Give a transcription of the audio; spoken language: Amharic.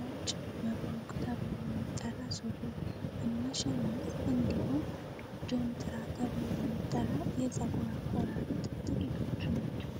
ነጭ መብሩቅ ተብሎ የሚጠራ ሱሪ እና ሸሚዝ እንዲሁም ጆንትራ ተብሎ የሚጠራ የፀጉር አቆራረጥ ጥቂቶች ናቸው።